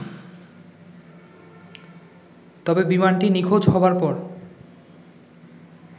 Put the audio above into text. তবে বিমানটি নিখোঁজ হবার পর